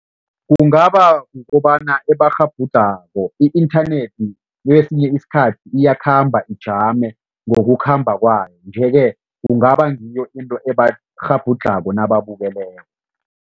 Kungaba kukobana ebakghabhudlhako. I-inthanethi kwesinye isikhathi iyakhamba ijame ngokukhamba kwayo nje-ke kungaba ngiyo into ebakghabhudlhako nababukeleko.